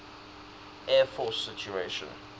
air force station